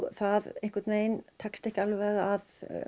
það tekst ekki að